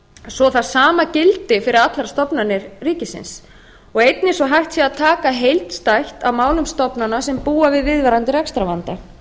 svo að það sama gildi fyrir allar stofnanir ríkisins og einnig svo að hægt sé að taka heildstætt á málum stofnana sem búa við viðvarandi rekstrarvanda